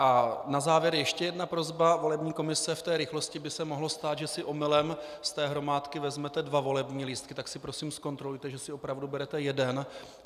A na závěr ještě jedna prosba: Volební komise - v té rychlosti by se mohlo stát, že si omylem z té hromádky vezmete dva volební lístky, tak si prosím zkontrolujte, že si opravdu berete jeden.